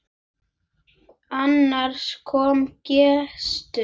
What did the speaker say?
Annars kom gestur.